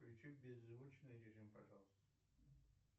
включи беззвучный режим пожалуйста